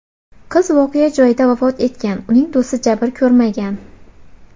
Qiz voqea joyida vafot etgan, uning do‘sti jabr ko‘rmagan.